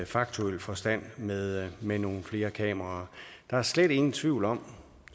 faktuel forstand med med nogle flere kameraer der er slet ingen tvivl om